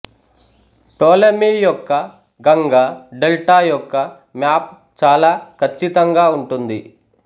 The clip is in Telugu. టోలెమి యొక్క గంగా డెల్టా యొక్క మ్యాప్ చాలా కచ్చితంగా ఉంటుంది